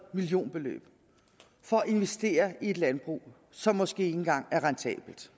millionbeløb for at investere i et landbrug som måske ikke engang er rentabelt